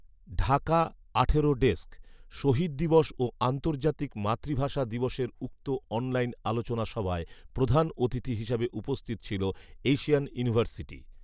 ঢাকা আঠারো ডেস্ক, শহীদ দিবস ও আন্তর্জাতিক মাতৃভাষা দিবসের উক্ত অনলাইন আলোচনা সভায় প্রধান অতিথি হিসেবে উপস্থিত ছিল এশিয়ান ইউনিভার্সিটি